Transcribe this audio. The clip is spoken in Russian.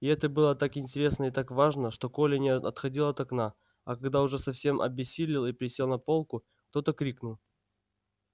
и это было так интересно и так важно что коля не отходил от окна а когда уж совсем обессилел и присел на полку кто то крикнул